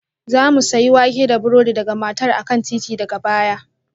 Za mu sayi wake da burodi daga matar a kan titi daga baya